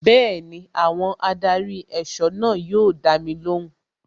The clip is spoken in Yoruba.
Bẹẹni, àwọn adarí ẹ̀sọ́ náà yóò dami lóhùn.